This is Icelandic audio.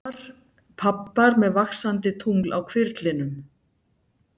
Pabbar með vaxandi tungl á hvirflinum.